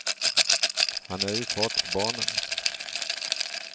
Han är ju far till barnen.